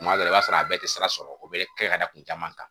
Kuma dɔ la i b'a sɔrɔ a bɛɛ tɛ sira sɔrɔ o bɛ kɛ ka da kun caman kan